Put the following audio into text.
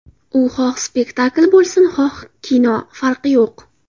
U xoh spektakl bo‘lsin, xoh kino, farqi yo‘q.